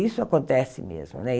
Isso acontece mesmo, né?